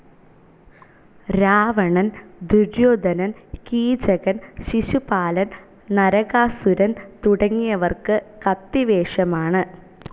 രാവണൻ, ദുര്യോധനൻ, കീചകൻ, ശിശുപാലൻ, നരകാസുരൻ തുടങ്ങിയവർക്ക് കത്തിവേഷമാണ്.